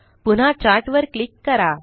पुन्हा चार्ट वर क्लिक करा